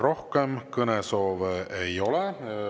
Rohkem kõnesoove ei ole.